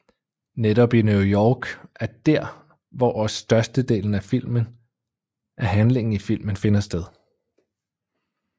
Netop i New York er dér hvor også størstedelen af handlingen i filmen finder sted